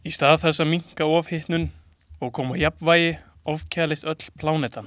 Í stað þess að minnka ofhitnun og koma á jafnvægi ofkælist öll plánetan.